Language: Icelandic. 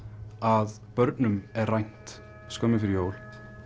að börnum er rænt skömmu fyrir jól